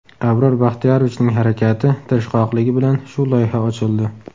Abror Baxtiyorovichning harakati, tirishqoqligi bilan shu loyiha ochildi.